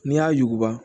N'i y'a yuguba